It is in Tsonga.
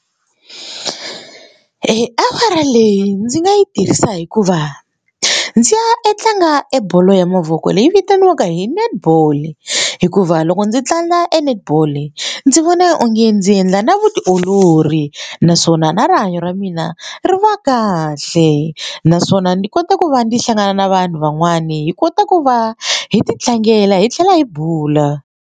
Eya awara leyi ndzi nga yi tirhisa hikuva ndzi ya e tlanga e bolo ya mavoko leyi vitaniwaka hi netball hikuva loko ndzi tlanga e netball ndzi vona ina onge ndzi endla na vutiolori naswona na rihanyo ra mina ri va kahle naswona ndzi kota ku va ndzi hlangana na vanhu van'wani hi kota ku va hi ti tlangela hi tlhela hi bula.